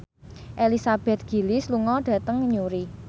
Elizabeth Gillies lunga dhateng Newry